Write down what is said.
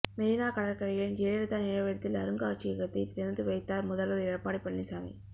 மெரினா கடற்கரையில் ஜெயலலிதா நினைவிடத்தில் அருங்காட்சியகத்தை திறந்துவைத்தார் முதல்வர் எடப்பாடி பழனிசாமி